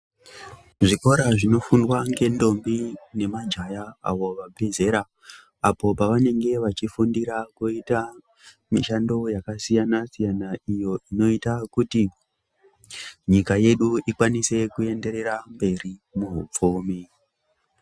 Zvikora zvinofundwa nemantombi nemajaha abve zera apo pavanenge vechifundise kuita mishando yakasiyana siyana iyoo inoita kuti nyika yedu ikwanise kuenderera mberi muhupfumi.